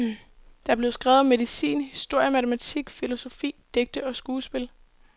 Der blev skrevet om medicin, historie, matematik, filosofi, digte og skuespil.